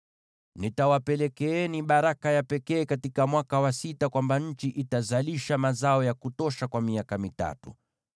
Nitawapelekeeni baraka ya pekee katika mwaka wa sita, kwamba nchi itazalisha mazao ya kutosha kwa miaka mitatu.